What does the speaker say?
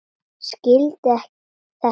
Skildi þetta ekki.